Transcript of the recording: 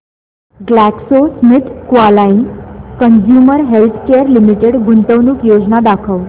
GlaxoSmithKline consumer healthcare limited गुंतवणूक योजना दाखव